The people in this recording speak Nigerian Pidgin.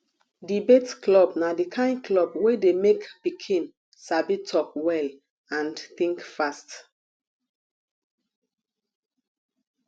debate club na di kain club wey dey make pikin sabi talk well and think fast